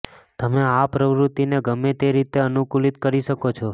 તમે આ પ્રવૃત્તિને ગમે તે રીતે અનુકૂલિત કરી શકો છો